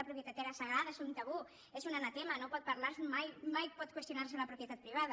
la propietat era sagrada és un tabú és un anatema no pot parlarse mai mai pot qüestionarse la propietat privada